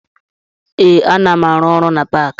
Ee, ana m arụ ọrụ na paakị